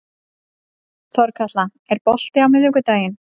Þorkatla, er bolti á miðvikudaginn?